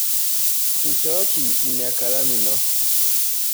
Nchooki ina kalamu ino.